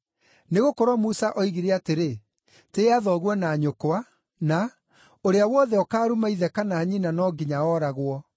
Nĩgũkorwo Musa oigire atĩrĩ, ‘Tĩĩa thoguo na nyũkwa,’ na, ‘Ũrĩa wothe ũkaaruma ithe kana nyina no nginya ooragwo.’